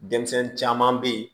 Denmisɛnnin caman bɛ yen